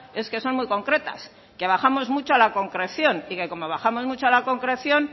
es que son muy concretas que bajamos mucho a la concreción y que como bajamos mucho a la concreción